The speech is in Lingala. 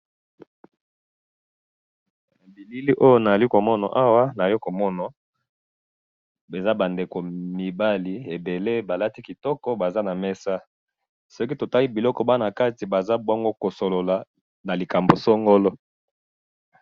bilili oyo nazali komona awa naye komona eza ba ndeko mibali ebele balati kitoko bavandi na mesa soki totali soki totali kitoko biloko baza nakati bazo solola na likambo songolo